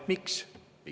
Miks?